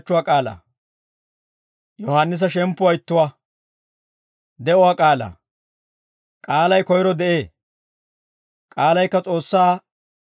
K'aalay koyro de'ee; k'aalaykka S'oossaanna ittippe de'ee; k'aalaykka S'oossaa.